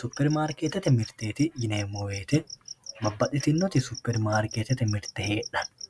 superi marikeettete mirte yinemmo woyte babbaxitinnoti superimaarikeetete mirte heedhanno